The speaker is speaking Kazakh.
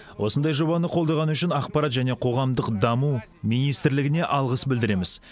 осындай жобаны қолдағаны үшін ақпарат және қоғамдық даму министрлігіне алғыс білдіреміз